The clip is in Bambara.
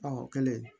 Ɔ o kɛlen